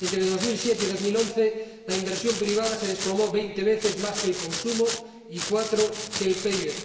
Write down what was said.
Entre 2007 y 2011 la inversión privada se desplomó veinte veces más que el consumo y cuatro más que el PIB.